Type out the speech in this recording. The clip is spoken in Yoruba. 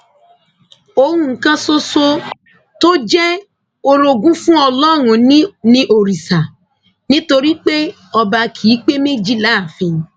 ohun kan ṣoṣo tó jẹ orogún fún ọlọrun ni òrìṣà nítorí pé ọba kì í pé méjì láàfin